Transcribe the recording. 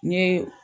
N ye